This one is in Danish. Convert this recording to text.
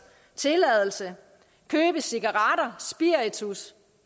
tilladelse købe cigaretter spiritus